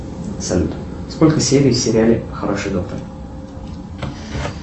салют сколько серий в сериале хороший доктор